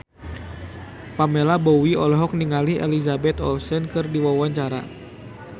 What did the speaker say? Pamela Bowie olohok ningali Elizabeth Olsen keur diwawancara